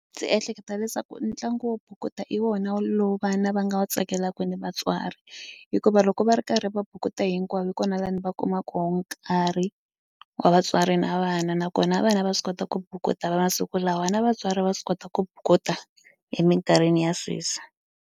Ndzi ehleketa leswaku ntlangu wo bukuta i wona lowu vana va nga wu tsakelaka ni vatswari hikuva loko va ri karhi va bukuta hinkwavo hi kona lani va kumaka wo nkarhi wa vatswari na vana nakona vana va swi kota ku bukuta va masiku lawa na vatswari va swi kota ku bukuta emikarhini ya sweswi.